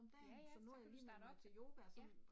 Ja ja, så kan du starte op, ja